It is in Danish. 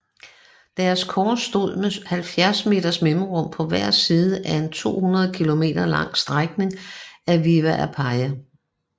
Deres kors stod med 70 meters mellemrum på hver side af en 200 km lang strækning af Via Appia